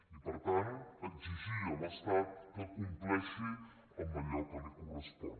i per tant exigir a l’estat que compleixi allò que li correspon